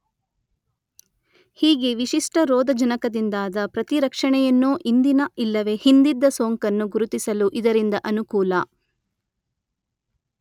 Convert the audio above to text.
ಹೀಗೆ ವಿಶಿಷ್ಟ ರೋಧಜನಕದಿಂದಾದ ಪ್ರತಿರಕ್ಷಣೆಯನ್ನೋ ಇಂದಿನ ಇಲ್ಲವೇ ಹಿಂದಿದ್ದ ಸೋಂಕನ್ನು ಗುರುತಿಸಲೂ ಇದರಿಂದ ಅನುಕೂಲ.